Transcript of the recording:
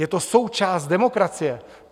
Je to součást demokracie.